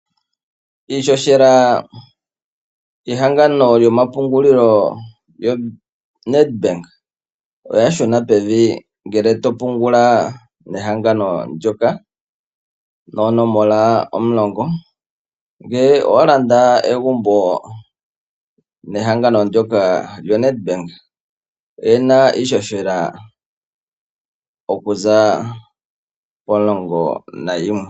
Iihohela yehangano lyomapungulilo yoNedbank oya shuna pevi ngele to pungula mehangano ndyoka noopelesenda omulongo, ngele owa landa egumbo nehangano ndyoka lyo Nedbank oye na iihohela okuza poopelesenda omulongo nayimwe.